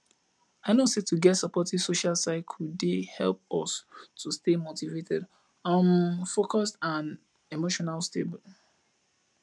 i know say to get supportive social circle dey help us to stay motivated um focused and emotional stable